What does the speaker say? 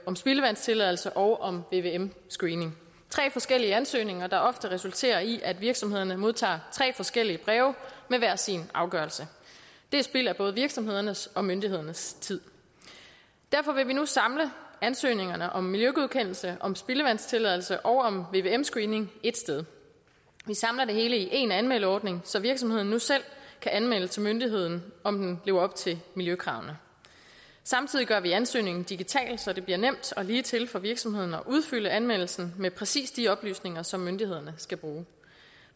om spildevandstilladelse og om vvm screening tre forskellige ansøgninger der ofte resulterer i at virksomhederne modtager tre forskellige breve med hver sin afgørelse det er spild af både virksomhedernes og myndighedernes tid derfor vil vi nu samle ansøgningerne om miljøgodkendelse om spildevandstilladelse og om vvm screening ét sted vi samler det hele i én anmeldeordning så virksomheden nu selv kan anmelde til myndigheden om den lever op til miljøkravene samtidig gør vi ansøgningen digital så det bliver nemt og ligetil for virksomhederne at udfylde anmeldelsen med præcis de oplysninger som myndighederne skal bruge